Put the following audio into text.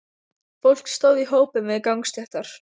Fólk stóð í hópum við gangstéttar.